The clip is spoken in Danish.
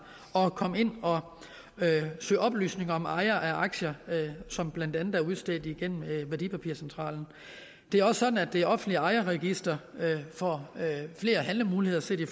at komme ind og søge oplysninger om ejere af aktier som blandt andet er udstedt igennem værdipapircentralen det er også sådan at det offentlige ejerregister får flere handlemuligheder set i